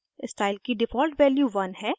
style की default value 1 है